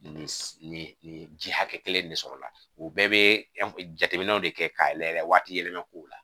Nin nin nin ji hakɛ kelen de sɔrɔ la u bɛɛ bɛ jateminɛw de kɛ k'a yɛlɛ waati yɛlɛma kow la